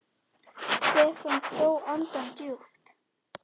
Stefán dró andann djúpt.